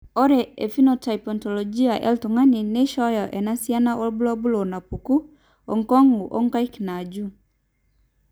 Ore ephenotype ontology etung'ani neishooyo enasiana oorbulabul onaapuku oonkung' oonkaik naaju.